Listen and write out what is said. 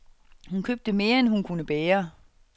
Hun købte mere end hun kunne bære.